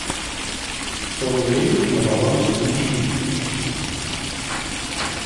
сто рублей на баланс никите